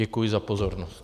Děkuji za pozornost.